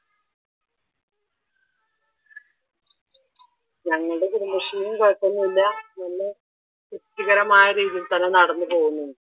ഞങ്ങളുടെ കുടുംബശ്രീയിലും കുഴപ്പമൊന്നുമില്ല നല്ല തൃപ്തികരമായ രീതിയിൽ തന്നെ നടന്നു പോകുന്നു.